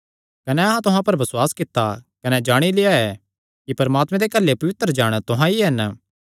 कने अहां तुहां पर बसुआस कित्ता कने जाणी लेआ ऐ कि परमात्मे दे घल्लेयो पवित्र जन तुहां ई हन